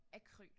Akryl